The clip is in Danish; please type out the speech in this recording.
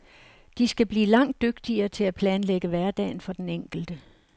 De skal blive langt dygtigere til at planlægge hverdagen for den enkelte.